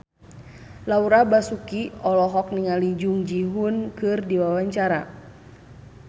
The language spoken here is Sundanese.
Laura Basuki olohok ningali Jung Ji Hoon keur diwawancara